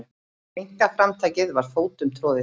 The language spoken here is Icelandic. Einkaframtakið var fótum troðið.